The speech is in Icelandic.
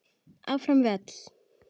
Áfram við öll.